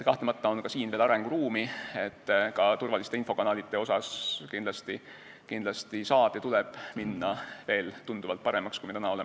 Kahtlemata on ka siin veel arenguruumi, infokanalite turvalisus saab kindlasti muutuda veel tunduvalt paremaks, kui see täna on.